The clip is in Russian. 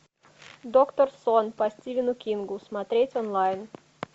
доктор сон по стивену кингу смотреть онлайн